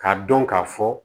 K'a dɔn k'a fɔ